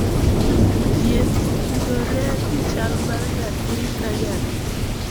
Thieth otudore gi chal mar nyathi ka nyathi.